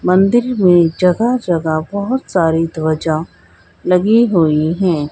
मंदिर में जगह जगह बहोत सारी ध्वजा लगी हुई है।